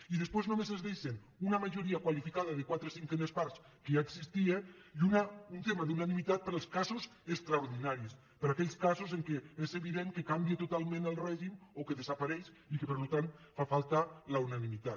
i després només es deixa una majoria qualificada de quatre cinquenes parts que ja existia i un tema d’unanimitat per als casos extraordinaris per a aquells casos en què és evident que canvia totalment el règim o que desapareix i que per tant fa falta la unanimitat